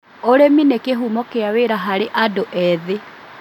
ũrĩmi nĩ kĩhumo kĩa wĩra harĩ andĩ ethĩ